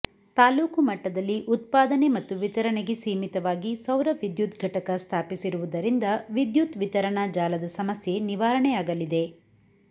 ತಾಲ್ಲೂಕು ಮಟ್ಟದಲ್ಲಿ ಉತ್ಪಾದನೆ ಮತ್ತು ವಿತರಣೆಗೆ ಸೀಮಿತವಾಗಿ ಸೌರವಿದ್ಯುತ್ ಘಟಕ ಸ್ಥಾಪಿಸಿರುವುದರಿಂದ ವಿದ್ಯುತ್ ವಿತರಣಾ ಜಾಲದ ಸಮಸ್ಯೆ ನಿವಾರಣೆಯಾಗಲಿದೆ